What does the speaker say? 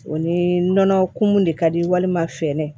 O ni nɔnɔ kumu de ka di walima finɛ